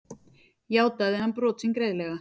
Játaði hann brot sín greiðlega